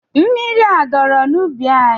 Mmiri a dọrọ n'ubi anyị?